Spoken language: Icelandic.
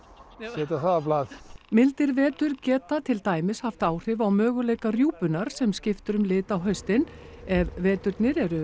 setja það á blað mildir vetur geta til dæmis haft áhrif á möguleika rjúpunnar sem skiptir um lit á haustin ef veturnir eru